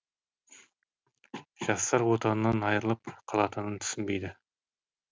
жастар отанынан айырылып қалатынын түсінбейді